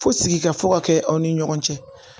Fo sigika fo ka kɛ aw ni ɲɔgɔn cɛ